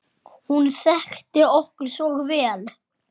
Hún þekkti okkur svo vel.